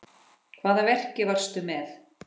Hvaða verki varstu með?